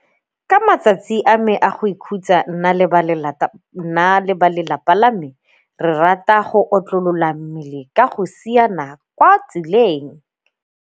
Ka matsatsi a me a go ikhutsa nna le balelapa, nna le balelapa la me re rata go otlolola mmele ka go siana kwa tseleng.